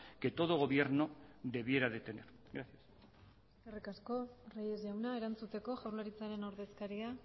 que todo gobierno debiera de tener gracias eskerrik asko reyes jauna erantzuteko jaurlaritzaren ordezkaria